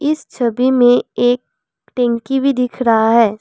इस छवि में एक टंकी भी दिख रहा है।